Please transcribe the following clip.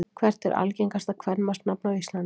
Hvert er algengasta kvenmannsnafn á Íslandi?